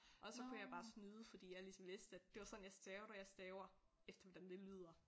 Og så kunne jeg bare snyde fordi jeg ligesom vidste at det var sådan jeg stavede og jeg staver efter hvordan det lyder